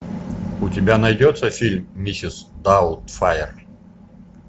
у тебя найдется фильм миссис даутфайр